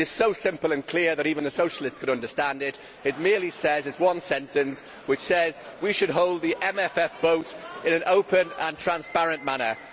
it is so simple and clear that even a Socialist could understand it. It merely says it is one sentence that we should hold the MFF vote in an open and transparent manner.